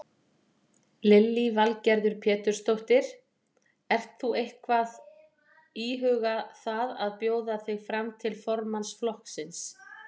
Lillý Valgerður Pétursdóttir: Ert þú eitthvað íhuga það að bjóða þig fram til formanns flokksins?